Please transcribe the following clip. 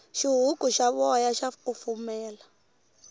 xihuku xa voya xa kufumela